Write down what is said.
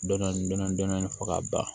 Dɔnni fɔ ka ban